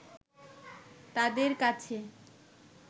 তাদের কাছে